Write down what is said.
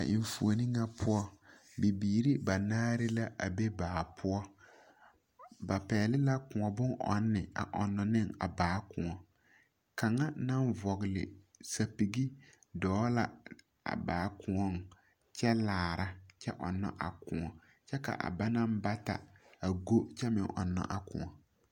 A enfuoni ŋa poɔ, bibiiri banaare la a be baa poɔ. Ba pɛgle la Kõɔ bon ɔnne a ɔnno ne a baa kõɔ .Kaŋa maŋ vɔgle sapigi dɔɔ la a baa koɔŋ kyɛ ɔnnɔ a kõɔ kyɛ ka a bana bata a go kyɛ ɔnnaa kõɔ.